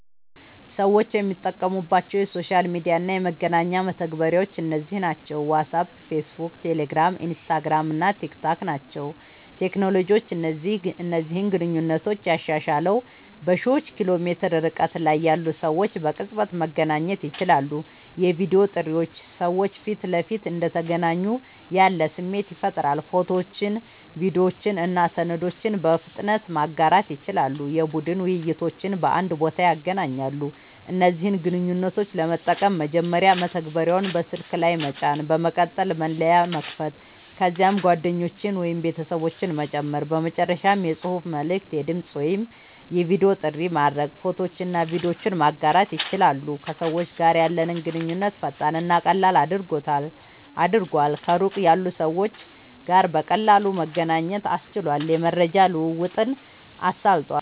ሰዎች የሚጠቀሙባቸው የሶሻል ሚዲያ እና የመገናኛ መተግበሪያዎች እነዚህ ናቸው፦ ዋትስአፕ፣ ፌስቡክ፣ ቴሌግራም፣ ኢንስታግራም እና ቲክታክ ናቸዉ።.ቴክኖሎጂ እነዚህን ግንኙነቶች ያሻሻለዉ፦ በሺዎች ኪሎ ሜትር ርቀት ላይ ያሉ ሰዎች በቅጽበት መገናኘት ይችላሉ። የቪዲዮ ጥሪዎች ሰዎች ፊት ለፊት እንደተገናኙ ያለ ስሜት ይፈጥራሉ። ፎቶዎችን፣ ቪዲዮዎችን እና ሰነዶችን በፍጥነት ማጋራት ይችላሉ። የቡድን ውይይቶችን በአንድ ቦታ ያገናኛሉ። እነዚህን ግንኙነቶች ለመጠቀም፦ መጀመሪያ መተግበሪያውን በስልክ ላይ መጫን፣ በመቀጠል መለያ መክፈት፣ ከዚያም ጓደኞችን ወይም ቤተሰቦችን መጨመር፣ በመጨረሻም የጽሑፍ መልዕክት፣ የድምጽ ወይም የቪዲዮ ጥሪ ማድረግ፣ ፎቶዎችንና ቪዲዮዎችን ማጋራት ይችላሉ። ከሰዎች ጋር ያለንን ግንኙነት ፈጣንና ቀላል አድርጓል፣ ከሩቅ ያሉ ሰዎች ጋር በቀላሉ መገናኘት አስችሏል፣ የመረጃ ልዉዉጥን አሳልጧል